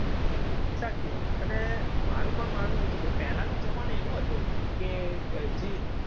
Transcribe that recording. સાચી વાત. અને મારું પણ માનવું એવું છે કે પહેલાનો જમાનો એવો હતો કે જી